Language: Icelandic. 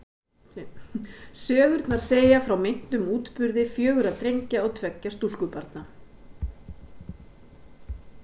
Sögurnar segja frá meintum útburði fjögurra drengja og tveggja stúlkubarna.